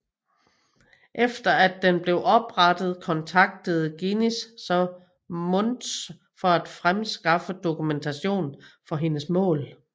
Efter at den blev oprettet kontaktede Guinness så Mounds for at fremskaffe dokumentation for hendes mål